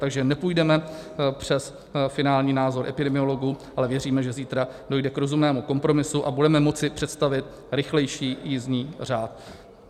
Takže nepůjdeme přes finální názor epidemiologů, ale věříme, že zítra dojde k rozumnému kompromisu a budeme moci představit rychlejší jízdní řád.